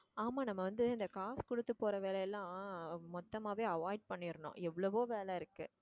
ஆமா நம்ம வந்து இந்த காசு கொடுத்து போற வேலை எல்லாம் மொத்தமாவே avoid பண்ணிடனும் எவ்வளவோ வேலை இருக்கு